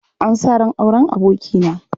An sa ran auren abokina.